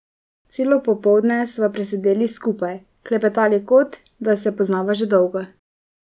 Celo popoldne sva presedeli skupaj, klepetali kot, da se poznava že dolgo.